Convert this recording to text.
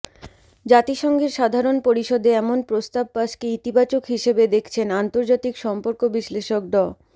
জাতিসংঘের সাধারণ পরিষদে এমন প্রস্তাব পাসকে ইতিবাচক হিসেবে দেখছেন আন্তর্জাতিক সম্পর্ক বিশ্লেষক ড